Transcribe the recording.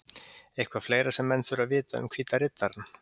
Eitthvað fleira sem menn þurfa að vita um Hvíta Riddarann?